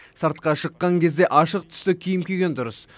сыртқа шыққан кезде ашық түсті киім киген дұрыс